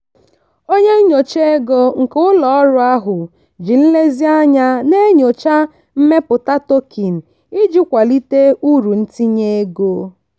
onye nyocha ego nke ụlọ ọrụ ahụ ji nlezianya na-enyocha mmepụta token iji kwalite uru ntinye ego.